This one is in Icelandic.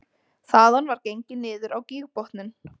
Þaðan var gengið niður á gígbotninn